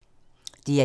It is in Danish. DR1